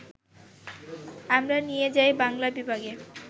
আমরা নিয়ে যাই বাংলা বিভাগে